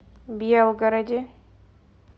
белгороде